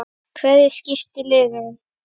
Hverjir skipa liðið?